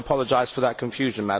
I do apologise for the confusion.